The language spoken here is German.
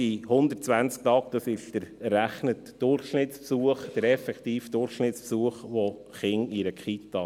Diese 120 Tage sind der errechnete Durchschnittsbesuch, respektive der effektive Durchschnittsbesuch der Kinder in einer Kita.